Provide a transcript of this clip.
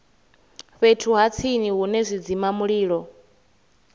fhethu ha tsini hune zwidzimamulilo